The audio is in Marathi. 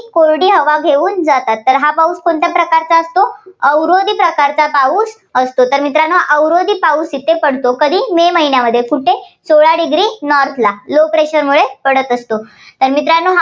कोरडी हवा घेऊन जाते. तर हा पाऊस कोणत्या प्रकारचा असतो, अवरोधी प्रकारचा पाऊस असतो. तर मित्रांनो अवरोधी प्रकारचा पाऊस इथे पडतो. कधी मे महिन्यामध्ये कुठे सोळा degree north ला low pressure मुळे पडत असतो. तर मित्रांनो